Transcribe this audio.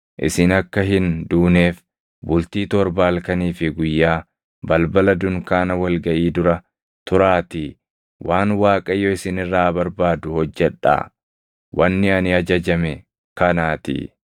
Isin akka hin duuneef bultii torba halkanii fi guyyaa balbala dunkaana wal gaʼii dura turaatii waan Waaqayyo isin irraa barbaadu hojjedhaa; wanni ani ajajame kanaatii.”